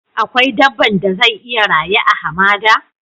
Akwai dabban da zai iya rayu a'hamada?